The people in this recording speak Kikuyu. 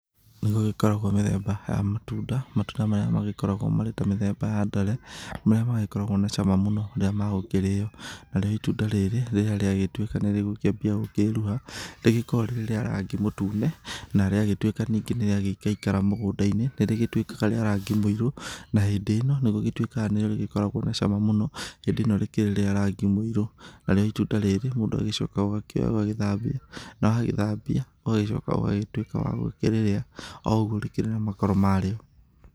Nĩ gũgĩkoragwo mĩthemba ya matunda matunda marĩa magĩkoragwo marĩ ta mĩthemba ya ndare marĩa magĩkoragwo na cama mũno rĩrĩ magũkĩrĩo. Narĩo itunda rĩrĩ rĩrĩa rĩatuĩka nĩ rĩgũkĩambia gũkĩruha, rĩkoragwo rĩrĩ rĩa rangi mũtune na rĩagĩtuĩka ningĩ nĩ rĩaikaikara mũgũnda-inĩ nĩ rĩgĩtuĩkaga rĩa rangi mũirũ na hĩndĩ ĩno, nĩ rĩgĩtuĩkaga nĩguo rĩkĩrĩ na cama mũno hĩndĩ ĩno rĩna rangi mũirũ. Narĩo itunda rĩrĩ mũndũ agĩcokaga akoya ũgagĩthambia na wagĩthambia ũgacoka ũgatuĩka wa gukĩrĩrĩa oũguo rĩkĩrĩ na makoro marĩo.